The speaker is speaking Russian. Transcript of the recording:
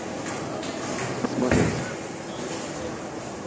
смоленск